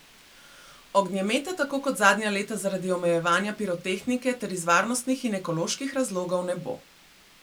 Ognjemeta tako kot zadnja leta zaradi omejevanja pirotehnike ter iz varnostnih in ekoloških razlogov ne bo.